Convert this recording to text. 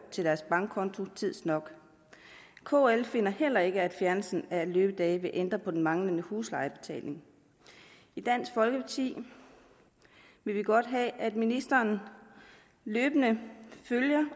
til deres bankkonto tids nok kl finder heller ikke at fjernelsen af løbedage vil ændre på den manglende huslejebetaling i dansk folkeparti vil vi godt have at ministeren løbende følger